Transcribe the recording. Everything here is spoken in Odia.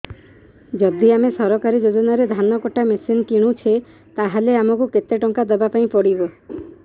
ଯଦି ଆମେ ସରକାରୀ ଯୋଜନାରେ ଧାନ କଟା ମେସିନ୍ କିଣୁଛେ ତାହାଲେ ଆମକୁ କେତେ ଟଙ୍କା ଦବାପାଇଁ ପଡିବ